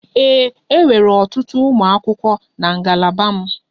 Ee, e nwere ọtụtụ ụmụ akwụkwọ na ngalaba m.